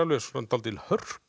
dálítil